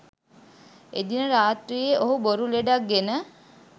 එදින රාත්‍රියේ ඔහු බොරු ලෙඩක් ගෙන